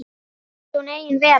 Finnst hún engin vera.